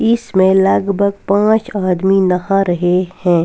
इसमें लगभग पाँच आदमी नहा रहे हैं।